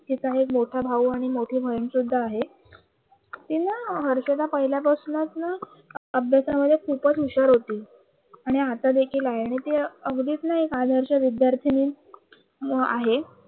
तिचा एक मोठा भाऊ सुद्धा आहे ती न हर्षदा पहिल्यापासून ना अभ्यासामध्ये खूपच हुशार होते आणि आता देखील आहे आणि तिला अगदी एक आदर्श विद्यार्थिनी आहे